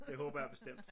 Det håber jeg bestemt